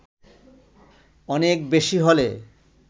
অনেক বেশি হলে